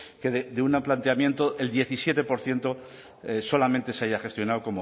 que de un planteamiento el diecisiete por ciento solamente se haya gestionado